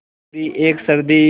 पूरी एक सदी